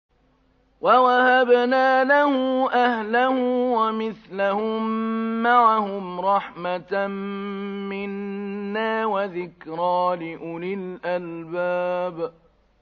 وَوَهَبْنَا لَهُ أَهْلَهُ وَمِثْلَهُم مَّعَهُمْ رَحْمَةً مِّنَّا وَذِكْرَىٰ لِأُولِي الْأَلْبَابِ